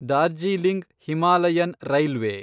Darjeeling Himalayan railway